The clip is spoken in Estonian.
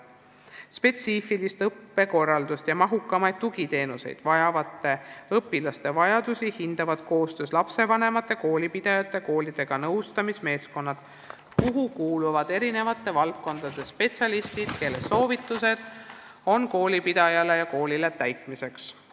Spetsiifilist õppekorraldust ja mahukamaid tugiteenuseid vajavate õpilaste vajadusi hindavad koostöös lapsevanemate, koolipidajate ja koolidega nõustamismeeskonnad, kuhu kuuluvad eri valdkondade spetsialistid, kelle soovitused on koolipidajale ja koolile täitmiseks.